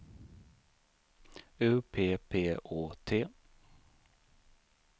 U P P Å T